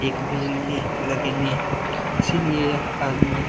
एक भी नहीं लगेंगे इसलिए यह आदमी --